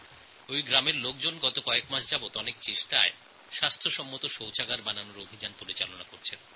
এই গ্রামের লোকেরা গত কয়েক মাস যাবৎ শৌচালয় তৈরির অভিযান চালিয়েছেন